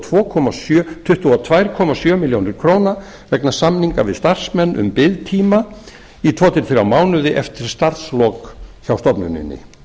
tvö komma sjö milljónir króna vegna samninga við starfsmenn um biðtíma eftir tvö til þrjá mánuði eftir starfslok hjá stofnuninni